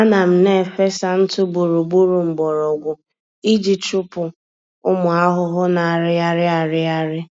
Ana m na-efesa ntụ gburugburu mgbọrọgwụ iji chụpụ ụmụ ahụhụ na-arịgharị arịgharị